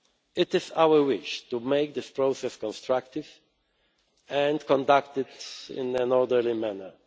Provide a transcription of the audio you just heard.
It is our wish to make this process constructive, and conducted in an orderly